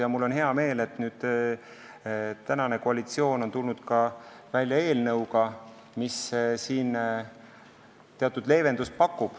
Ja mul on hea meel, et praegune koalitsioon on nüüd tulnud välja eelnõuga, mis pakub siin teatud leevendust.